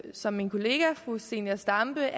som min kollega fru zenia stampe